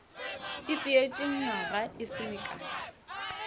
ipeetše nywaga e se mekae